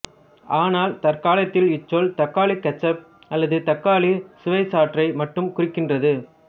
ஆனால் தற்காலத்தில் இச்சொல் தக்காளிக் கெச்சப் அல்லது தக்காளிச் சுவைச்சாற்றை மட்டுமே குறிக்கின்றது